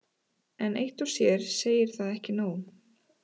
En eitt og sér segir það ekki nóg.